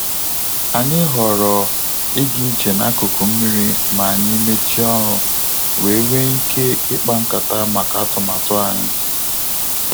Anyị ghọrọ ịga ije n'akụkụ mmiri ma anyị mechie ọrụ wee nwee ike ikpa nkata maka atụmatụ anyị